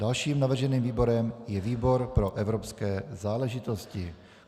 Dalším navrženým výborem je výbor pro evropské záležitosti.